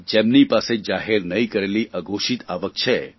જેમની પાસે જાહેર નહીં કરેલી અઘોષિત આવક છે